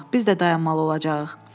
Biz də dayanmalı olacağıq.